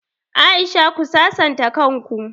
Aisha ku sasanta kan ku!